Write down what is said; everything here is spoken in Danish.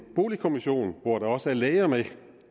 boligkommission hvor der også er læger med